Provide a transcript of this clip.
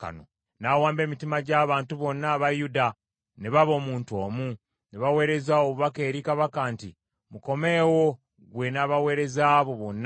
N’awamba emitima gy’abantu bonna aba Yuda ne baba omuntu omu, ne baweereza obubaka eri kabaka nti, “Mukomeewo, ggwe n’abaweereza bo bonna.”